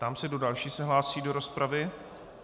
Ptám se, kdo další se hlásí do rozpravy.